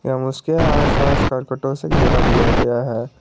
एवं उसके आसपास करकटो से घेरा दिया गया है।